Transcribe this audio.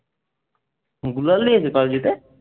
গ্লোওয়াল নিয়েছে পাবজিতে?